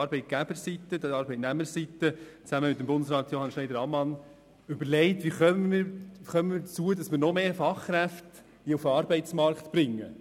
Arbeitgeber- und Arbeitnehmerseite überlegen sich zusammen mit Johann Schneider-Ammann, wie mehr Fachkräfte auf den Arbeitsmarkt gebracht werden können.